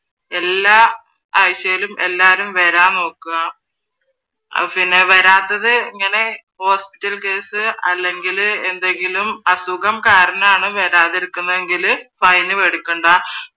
എല്ലാ ആഴ്ചയിലും എല്ലാ എല്ലാവരും വരാൻ നോക്കുക പിന്നെ വരാത്തത് ഇങ്ങനെ ഹോസ്പിറ്റൽ കേസ് അല്ലെങ്കിൽ എന്തെങ്കിലും അസുഖം കാരണാണ് വരാതിരിക്കുന്നതെങ്കിൽ ഫൈൻ മേടിക്കണ്ട